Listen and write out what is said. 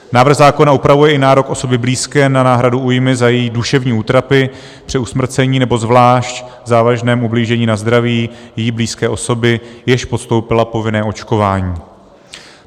Návrh zákona upravuje i nárok osoby blízké na náhradu újmy za její duševní útrapy, při usmrcení nebo zvlášť závažném ublížení na zdraví její blízké osoby, jež podstoupila povinné očkování.